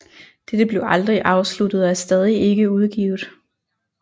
Dette blev aldrig afsluttet og er stadig ikke udgivet